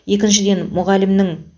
екіншіден мұғалімнің